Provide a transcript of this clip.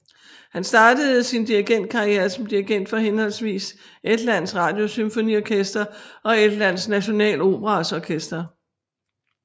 Han startede sin dirigentkarriere som dirigent for henholdsvis Estlands Radiosymfoniorkester og Estland Nationaloperas orkester